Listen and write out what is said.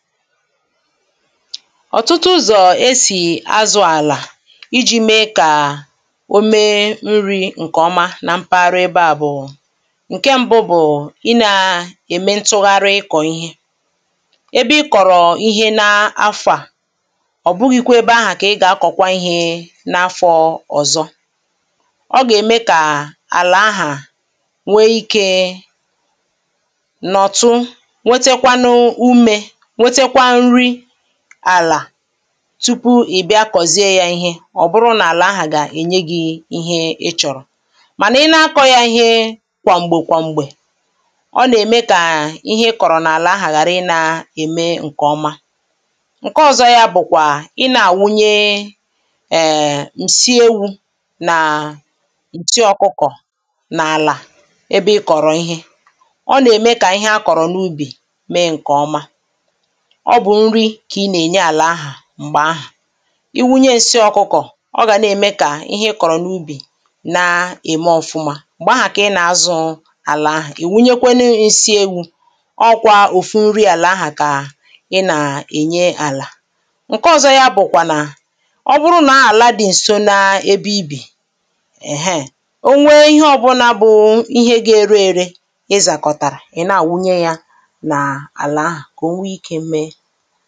ọ̀tụtụ ụzọ̀ esì azụ̇ àlà iji̇ mee kà o mee nri̇ ǹkèọma na mpaghara ebe à bụ̀ ǹke ṁbụ̇ bụ̀ ị nà-ème ntụgharị ịkọ̀ ihe ebe ị kọ̀rọ̀ ihe n’afọ̀ à ọ̀ bụghị̇kwȧ ebe ahụ̀ kà ị gà-akọ̀kwa ihe n’afọ̇ ọ̀zọ ọ gà-ème kà àlà ahà nwee ikė nọ̀tụ àlà tupu ị̀ bịa kọ̀zịa yȧ ihe ọ̀ bụrụ nà àlà ahà gà ènye gi̇ ihe ị chọ̀rọ̀ mànà ị na-akọ̇ yȧ ihe kwà m̀gbè kwà m̀gbè ọ nà-ème kà ihe ị kọ̀rọ̀ n’àlà ahà ghàrị ị na-ème ǹkè ọma ǹke ọ̀zọ yȧ bụ̀kwà ị nȧ-àwunye ǹsi ewu̇ nà ǹsi ọ̀kụkọ̀ n’àlà ebe ị kọ̀rọ̀ ihe ọ nà-ème kà ihe akọ̀rọ̀ n’ubì mee ǹkè ọma ọ bụ̀ nri kà ị nà-ènye àlà ahà m̀gbè ahà i wunye nsị ọkụkọ̀ ọ gà na-ème kà ihe ị kọ̀rọ̀ n’ubì na-ème ọ̀fụma m̀gbè ahà kà ị nà-azụ àlà ahà, ị̀ wunyekwe n’esi ewu̇ ọ kwȧ òfu nri àlà ahà kà ị nà-ènye àlà ǹke ọ̀zọ ya bụ̀kwà nà ọ bụrụ nà ala dị ǹso na-ebe ibì èheè, o nwee ihe ọbụla bụ̀ ihe ga-ere ere ị zàkọ̀tàrà, ị na-àwụnye yȧ nà àlà ahà kà o nwee ike mė ha